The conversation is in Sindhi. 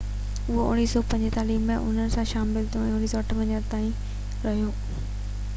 هو 1945 ۾ انهن سان شامل ٿيو ۽ 1958 تائين رهيو